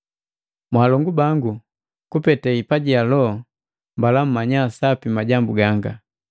Mwalongu bango, kupete hipaji ja loho. Mbala mmanya sapi majambu ganga.